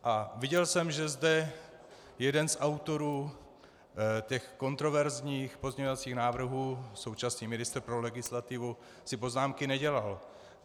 A viděl jsem, že zde jeden z autorů těch kontroverzních pozměňovacích návrhů, současný ministr pro legislativu, si poznámky nedělal.